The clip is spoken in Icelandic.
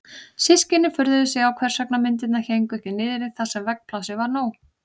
Systkinin furðuðu sig á hvers vegna myndirnar héngu ekki niðri þar sem veggplássið var nóg.